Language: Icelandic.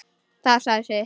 Það sagði sitt.